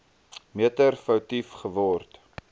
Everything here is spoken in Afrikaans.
meter foutief geword